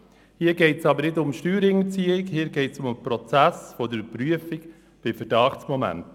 Hier geht es aber nicht um Steuerhinterziehung, sondern um den Prozess der Überprüfung bei Verdachtsmomenten.